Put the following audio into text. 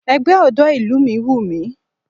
Ẹgbẹ́ ọ̀dọ́ ìlú mi wùmí